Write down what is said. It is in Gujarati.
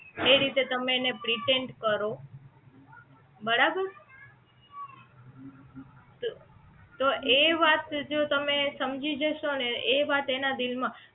એ રીતે તમે એને pretend કરો બરાબર તો તો એ વાત ને જો તમે સમજી જશો ને એ વાત એના દિલ માં